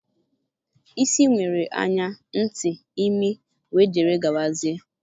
Isi nwere anya, ntị, imi, wdg.